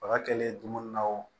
Baga kɛlen dumuni na o